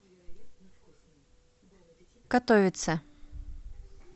катовице